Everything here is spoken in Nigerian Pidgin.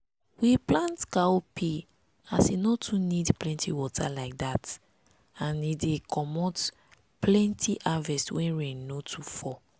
we plant cowpea as e no too need plenty water like that and e dey commot plenty harvest when rain no too fall.